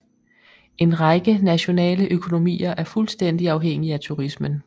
En række nationale økonomier er fuldstændig afhængig af turismen